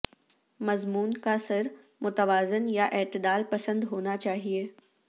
مضمون کا سر متوازن یا اعتدال پسند ہونا چاہئے